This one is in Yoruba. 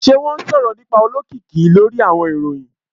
Ṣe wọn sọrọ nipa olokiki lori awọn iroyin?